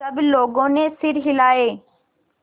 सब लोगों ने सिर हिलाए